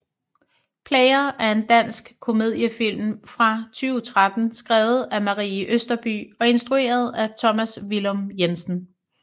Player er en dansk komediefilm fra 2013 skrevet af Marie Østerbye og instrueret af Tomas Villum Jensen